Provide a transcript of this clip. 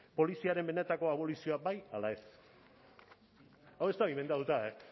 poliziaren benetako abolizioa bai ala ez hau ez dago inbentatuta e